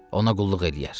ona qulluq eləyər.